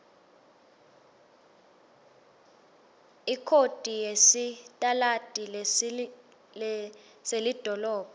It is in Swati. ikhodi yesitaladi selidolobha